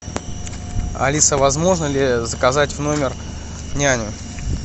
алиса возможно ли заказать в номер няню